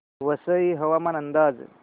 वसई हवामान अंदाज